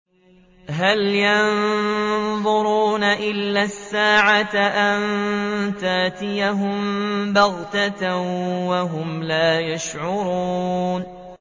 هَلْ يَنظُرُونَ إِلَّا السَّاعَةَ أَن تَأْتِيَهُم بَغْتَةً وَهُمْ لَا يَشْعُرُونَ